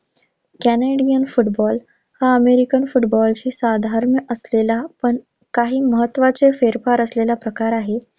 Canadian football हा American फुटबॉलशी साधर्म्य असलेला पण काही महत्त्वाचे फेरफार असलेला प्रकार आहे.